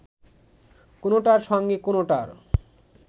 কোনোটার সঙ্গে কোনোটার